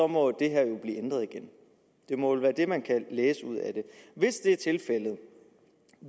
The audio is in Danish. må det her jo blive ændret igen det må vel være det man kan læse ud af det hvis det er tilfældet